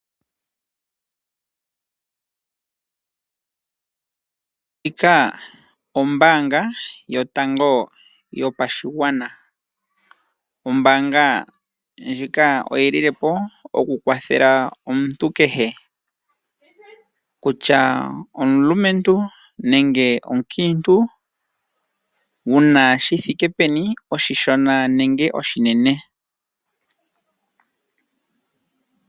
Ndjika ombaanga yotango yopashigwana ombaanga djika oyi lilepo okukwathela omuntu kehe kutya omulumentu nenge omukiintu wuna shithike peni, oshishona nenge oshinene.